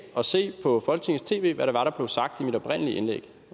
og se på folketingets tv hvad det var der blev sagt i mit oprindelige indlæg